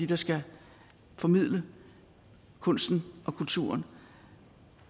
der skal formidle kunsten og kulturen